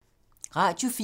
Radio 4